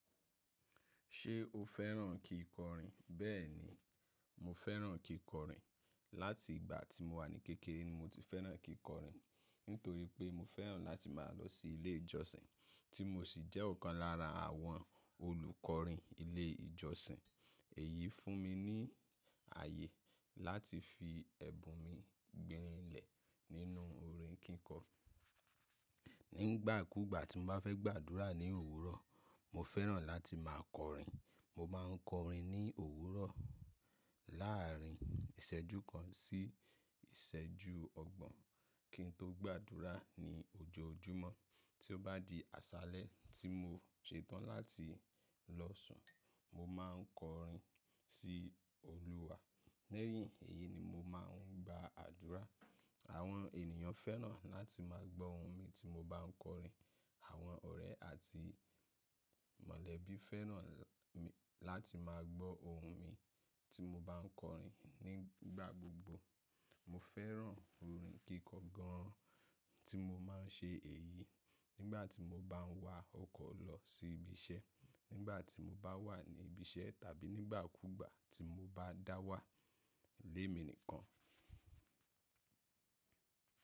Ṣé o fẹ́ràn kíkọrin? Bẹ́ẹ̀ni, mo fẹ́ràn kíkọrin. Láti ìgbà tí mo wà ní kékeré ni mo ti fẹ́ràn kíkọrin, nítorí pé mo fẹ́ràn láti máa lọ sí ilé ìjọsìn, tí mo sì jẹ́ ọ̀kan lára àwọn olùkọrin ilé ìjọsìn. Èyí fún mi ní ààyè láti fi ẹbùn mi gbinlẹ̀— nínú orin kíkọ. Nígbàkúgbà tí mo bá fẹ́ gbàdúrà ní òwúrọ̀— mo fẹ́ràn láti máa kọrin. Mo máa ń kọrin ní òwúrọ̀ láàárín ìṣẹ́jú kan sí —ìṣẹ́jú ọgbọ̀n kí n tó gbàdúrà ní ojoojúmọ́. Tí ó bá di àṣálẹ́ tí mo ṣetán láti lọ sùn, mo máa ń kọrin —sí Olúwa. Lẹ́yìn èyí ni mo máa ń gbà adúrà. Àwọn ènìyàn fẹ́ràn láti máa gbọ́ ohùn mi tí mo bá ń kọrin. Àwọn ọ̀rẹ́ àti —mọ̀lẹ́bí fẹ́ràn láti máa gbọ́ ohùn mi —tí mo bá ń kọrin nígbà gbogbo. Mo fẹ́ràn orin kíkọ gan-an— tí mo máa ń ṣe èyí nígbà tí mo bá ń wa ọkọ̀ lọ sí ibi iṣẹ́, nígbà tí mo bá wà ní ibi iṣẹ́, tàbí nígbà kúgbà tí mo bá dá wà lé mi nìkan.